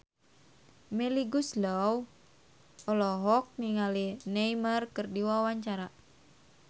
Melly Goeslaw olohok ningali Neymar keur diwawancara